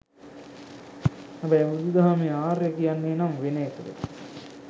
හැබැයි බුදු දහමේ ආර්ය කියන්නේ නම් වෙන එකකට.